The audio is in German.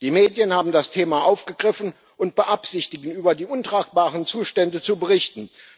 Die Medien haben das Thema aufgegriffen und beabsichtigen, über die untragbaren Zustände zu berichten.